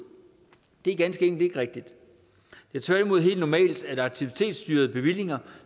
det er ganske enkelt ikke rigtigt det er tværtimod helt normalt at aktivitetsstyrede bevillinger